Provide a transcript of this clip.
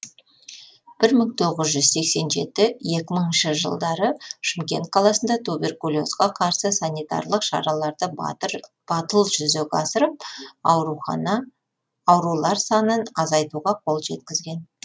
бір мың тоғыз жүз сексен жеті екі мыңыншы жылдары шымкент қаласында туберкулезге қарсы санитарлық шараларды батыл жүзеге асырып аурулар санын азайтуға қол жеткізген